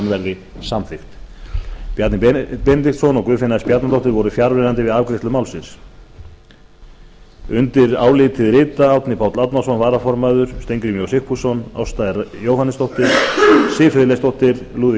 verði samþykkt bjarni benediktsson og guðfinna s bjarnadóttir voru fjarverandi við afgreiðslu málsins undir álitið rita árni páll árnason varaformaður steingrímur j sigfússon ásta r jóhannesdóttir siv friðleifsdóttir lúðvík